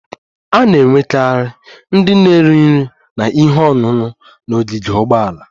A na-enwekarị ndị na-ere nri na ihe ọṅụṅụ n'ogige ụgbọala